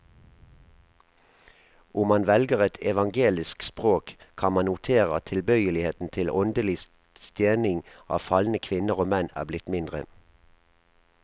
Om man velger et evangelisk språk, kan man notere at tilbøyeligheten til åndelig stening av falne kvinner og menn er blitt mindre.